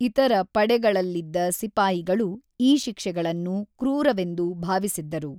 ಇತರ ಪಡೆಗಳಲ್ಲಿದ್ದ ಸಿಪಾಯಿಗಳು ಈ ಶಿಕ್ಷೆಗಳನ್ನು ಕ್ರೂರವೆಂದು ಭಾವಿಸಿದ್ದರು.